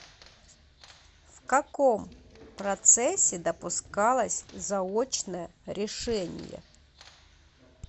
в каком процессе допускалось заочное решение